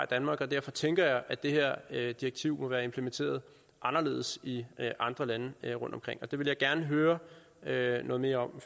danmark og derfor tænker jeg at det her direktiv må være implementeret anderledes i andre lande rundtomkring det vil jeg gerne høre høre noget mere om